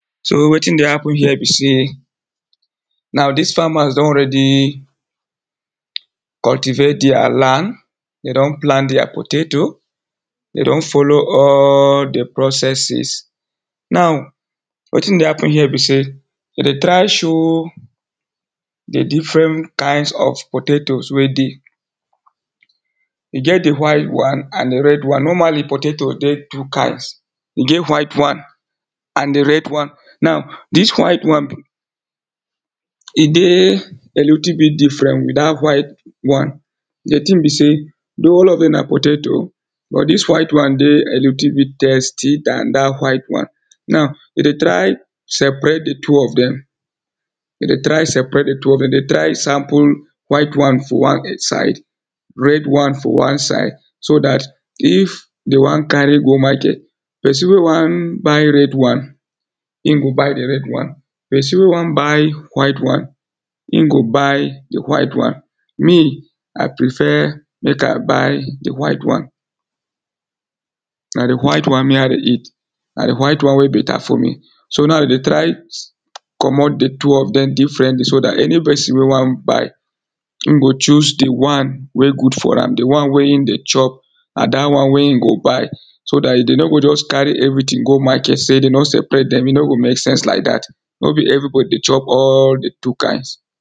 so wetin dey happen here be sey, now these farmers don already, cultivate deir land, de don plant deir potato, de don follow all the processes. now, wetin dey happen here be sey, de dey try show the different kinds of potatoes wey dey. e get the white one, and the red one. normally potato get two kinds, e get white one, and the red one. now, dis white one, e dey a little bit different with dat white one. the tin be sey tou all of dem na potatoe but dis white one dey a little bit tasty than dat white one. now, we dey try separate the two of dem, we dey try separate the two of dem, de dey try sample white one for one side, red one for one side, so dat if dey wan carry go market, person wey wan buy red one, in go buy the red one, person wey wan buy white one, in go buy the white one. me i prefer mek i buy the white one, na the white one, me i dey eat, na the white one wey better for me. so now de dey try, comot the two of dem differently, so dat any person wey wan buy, in go choose the one, wey good for am, the one wey in dey chop na dat one wey in go buy, so dat if de no go just carry everyting go market, sey de no separate dem e no go mek sense like dat no be everybody dey chop all the two kinds.